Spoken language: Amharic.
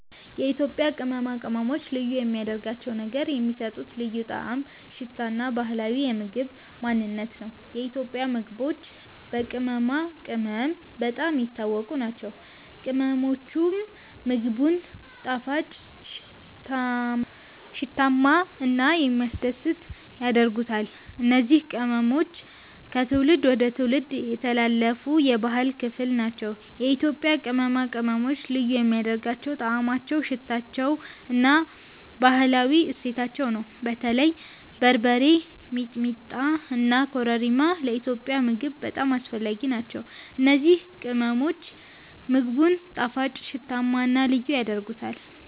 የኢትዮጵያ ቅመማ ቅመሞች ልዩ የሚያደርጋቸው ነገር የሚሰጡት ልዩ ጣዕም፣ ሽታ እና ባህላዊ የምግብ ማንነት ነው። የኢትዮጵያ ምግቦች በቅመማ ቅመም በጣም የታወቁ ናቸው፤ ቅመሞቹም ምግቡን ጣፋጭ፣ ሽታማ እና የሚያስደስት ያደርጉታል። እነዚህ ቅመሞች ከትውልድ ወደ ትውልድ የተላለፉ የባህል ክፍል ናቸው። የኢትዮጵያ ቅመማ ቅመሞች ልዩ የሚያደርጋቸው ጣዕማቸው፣ ሽታቸው እና ባህላዊ እሴታቸው ነው። በተለይ በርበሬ፣ ሚጥሚጣ እና ኮረሪማ ለኢትዮጵያዊ ምግብ በጣም አስፈላጊ ናቸው። እነዚህ ቅመሞች ምግቡን ጣፋጭ፣ ሽታማ እና ልዩ ያደርጉታል።